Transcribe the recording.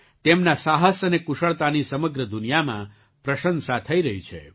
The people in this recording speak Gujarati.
તેમનાં સાહસ અને કુશળતાની સમગ્ર દુનિયામાં પ્રશંસા થઈ રહી છે